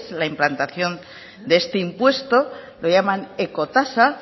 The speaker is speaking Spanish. la implantación de este impuesto lo llaman ecotasa